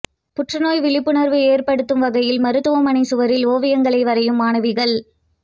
புற்றுநோய் விழிப்புணர்வு ஏற்படுத்தும் வகையில் மருத்துவமனை சுவரில் ஓவியங்களை வரையும் மாணவிகள்